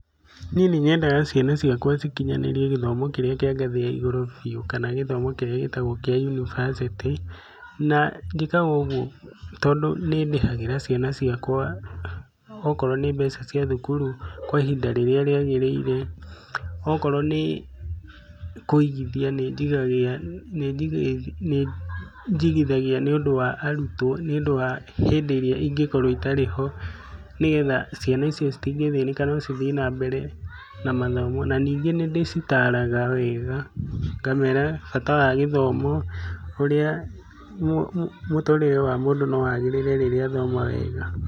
Nie nĩnyendaga ciana ciakwa cikinyanĩrie gĩthomo kĩrĩa kĩa ngathĩ ya igũrũ biũ kana gĩthomo kĩrĩa gĩtagwo kĩa university na njĩkaga ũguo tondũ nĩndĩhagĩra ciana ciakwa okorwo nĩ mbeca cia thukuru kwa ihinda rĩrĩa rĩagĩrĩire, okorwo nĩ kũigithia nĩnjigithagia nĩũndũ wa arutwo, nĩũndũ wa hĩndĩ ĩrĩa ingĩkorwo itarĩ ho nĩgetha ciana icio citingĩthĩnĩka no cithiĩ na mbere na mathomo na ningĩ nĩndĩcitaraga wega, ngamera bata wa gĩthomo ũrĩa mũtũrĩre wa mũndũ no wagĩrĩre rĩrĩa athoma wega.